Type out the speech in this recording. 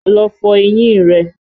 Lọ fọ eyín rẹ!